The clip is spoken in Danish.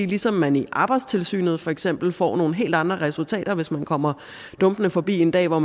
ligesom man i arbejdstilsynet for eksempel får nogle helt andre resultater hvis man kommer dumpende forbi en dag hvor